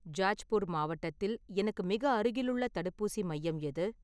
ஜாஜ்பூர் மாவட்டத்தில் எனக்கு மிக அருகிலுள்ள தடுப்பூசி மையம் எது?